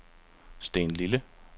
Stenlille